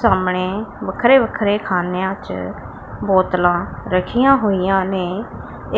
ਸਾਹਮਣੇ ਵੱਖਰੇ ਵੱਖਰੇ ਖਾਨਿਆਂ 'ਚ ਬੋਤਲਾਂ ਰੱਖੀਆਂ ਹੋਈਆਂ ਨੇ